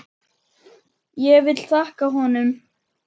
Ég vil þakka honum.